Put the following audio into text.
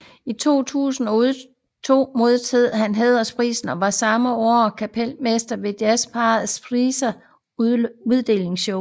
I 2002 modtog han DJBFAs Hæderspris og var samme år kapelmester ved Jazzpar Prisens uddelingsshow